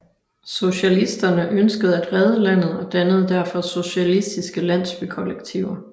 Sosialisterne ønskede at redde landet og dannede derfor socialistiske landsbykollektiver